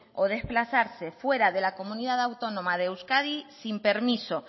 o de desplazarse fuera de la comunidad autónoma de euskadi sin permiso